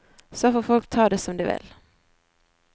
Så får folk ta det som de vil.